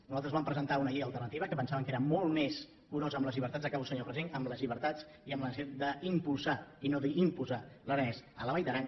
nosaltres vam presentar una llei alternativa que pensàvem que era molt més curosa amb les llibertats acabo senyor president i amb la necessitat d’impulsar i no d’imposar l’aranès a la vall d’aran